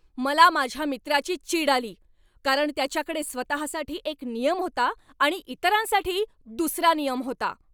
मला माझ्या मित्राची चीड आली कारण त्याच्याकडे स्वतःसाठी एक नियम होता आणि इतरांसाठी दुसरा नियम होता.